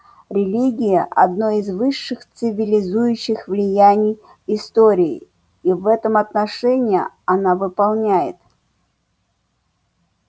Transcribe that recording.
религия одно из высших цивилизующих влияний истории и в этом отношении она выполняет